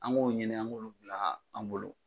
An k'o ɲini an k'olu bila an bolo